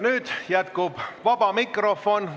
Nüüd jätkub istung vaba mikrofoniga.